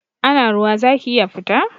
Ana ruwa zaki iya fita?